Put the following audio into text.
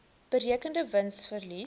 berekende wins verlies